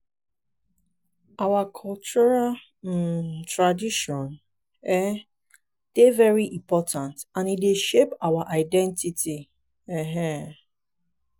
i dey think say our cultural say our cultural festivals and events dey bring us together and remind us of our heritage.